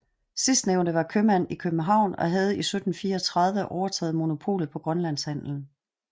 Sidstnævnte var købmand i København og havde i 1734 overtaget monopolet på grønlandshandelen